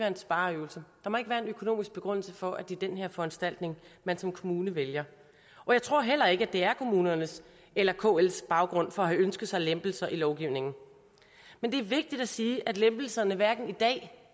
en spareøvelse der må ikke være en økonomisk begrundelse for at det er den her foranstaltning man som kommune vælger og jeg tror heller ikke at det er kommunernes eller kls baggrund for at have ønsket sig lempelser i lovgivningen men det er vigtigt at sige at lempelserne hverken i dag